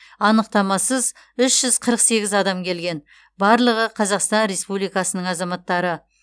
анықтамасыз үш жүз қырық сегіз адам келген барлығы қазақстан республикасының азаматтары